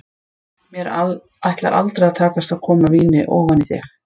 Mér ætlar aldrei að takast að koma víni ofan í þig.